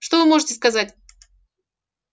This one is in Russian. что вы можете сказать